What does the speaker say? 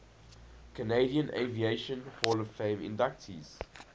canadian aviation hall of fame inductees